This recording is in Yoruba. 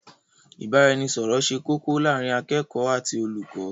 ìbáraẹnisọọ̀rọ̀ ṣe kókó láàrín akẹ́kọ̀ọ́ àti olùkọ́.